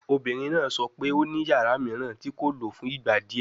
Obinrin naa sọ pe o ni yara miiran ti ko lo fun igba diẹ